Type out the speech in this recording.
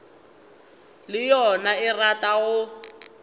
le yona e rata go